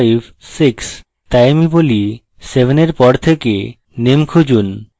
তাই আমি বলি 7 এর পর থেকে naam খুঁজুন